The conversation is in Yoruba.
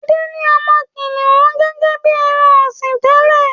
Ade ní ọmọ kìnìún gẹ́gẹ́ bí ẹran-ọ̀sìn tẹ́lẹ̀.